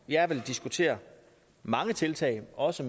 jeg vil diskutere mange tiltag også